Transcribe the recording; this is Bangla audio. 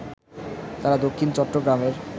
তারা দক্ষিণ চট্টগ্রামের